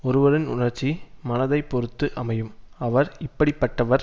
ஒருவரின் உணர்ச்சி மனதைப் பொருத்து அமையும் அவர் இப்படி பட்டவர்